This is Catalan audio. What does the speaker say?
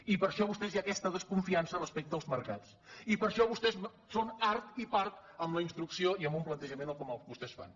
i per això amb vostès hi ha aquesta desconfiança respecte als mercats i per això vostès són art i part amb la instrucció i amb un plantejament com el que vostès fan